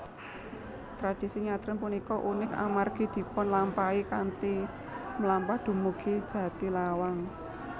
Tradisi nyadran punika unik amargi dipunlampahi kanthi mlampah dumugi Jatilawang